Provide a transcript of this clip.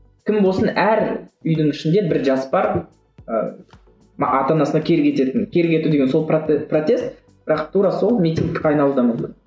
кім болсын әр үйдің ішінде бір жас бар ы ата анасына кері кететін кері кету деген сол протест бірақ тура сол митингке айналуы да мүмкін